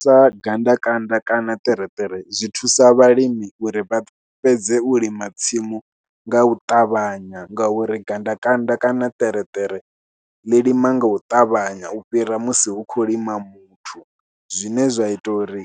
Sa gandakanda kana ṱereṱere, zwi thusa vhalimi uri vha fhedze u lima tsimu nga u ṱavhanya ngauri gandakanda kana ṱereṱere ḽi lima nga u ṱavhanya u fhira musi hu khou lima muthu zwine zwa ita uri